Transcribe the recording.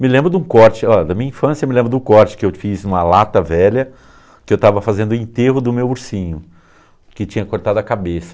Me lembro de um corte, oh, da minha infância me lembro de um corte que eu fiz em uma lata velha, que eu estava fazendo o enterro do meu ursinho, que tinha cortado a cabeça.